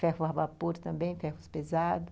Ferro a vapor também, ferros pesados.